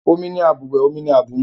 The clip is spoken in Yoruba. Omi ni àbùwẹ̀, omi ni àbùmu